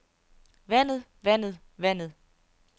vandet vandet vandet